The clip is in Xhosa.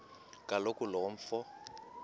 kaloku lo mfo